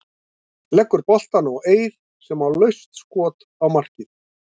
Leggur boltann á Eið sem á laust skot á markið.